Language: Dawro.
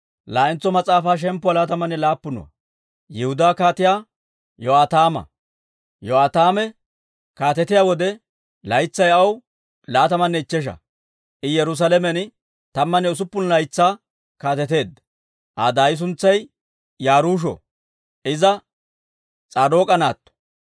Yo'aataame kaatetiyaa wode, laytsay aw laatamanne ichchesha; I Yerusaalamen tammanne usuppun laytsaa kaateteedda. Aa daay suntsay Yaruusho; iza S'aadook'a naatto.